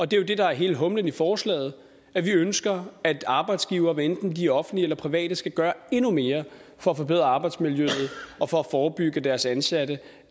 det er jo det der er hele humlen i forslaget at vi ønsker at arbejdsgivere hvad enten de er offentlige eller private skal gøre endnu mere for at forbedre arbejdsmiljøet og for at forebygge at deres ansatte